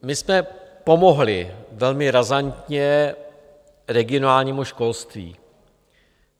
My jsme pomohli velmi razantně regionálnímu školství.